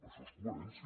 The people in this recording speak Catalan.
això és coherència